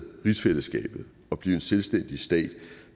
rigsfællesskabet og blive en selvstændig stat